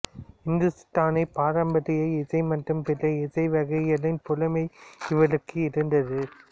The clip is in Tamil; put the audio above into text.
இந்துஸ்தானி பாரம்பரிய இசை மற்றும் பிற இசை வகைகளின் புலமை இவருக்கு இருந்தது